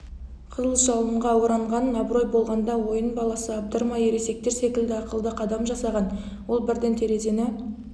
жалынға оранған абырой болғанда ойын баласы абдырамай ересектер секілді ақылды қадам жасаған ол бірден терезені